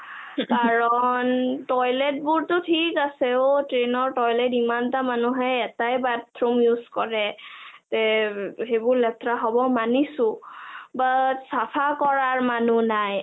কাৰণ toilet বোৰটো ধিক আছে অ train toilet ইমানটা মানুহে এটাই bathroom use কৰে যে এইবোৰ লেতেৰা হব মানিছো, but চাফা কৰা মানুহ নাই,